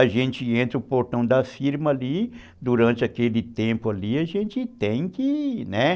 A gente entra no portão da firma ali, durante aquele tempo ali, a gente tem que ir, né?